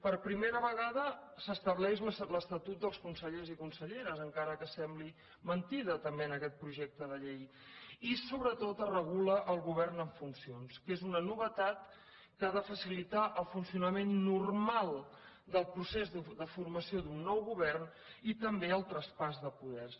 per primera vegada s’estableix l’estatut dels consellers i conselleres encara que sembli mentida també en aquest projecte de llei i sobretot es regula el govern en funcions que és una novetat que ha de facilitar el funcionament normal del procés de formació d’un nou govern i també el traspàs de poders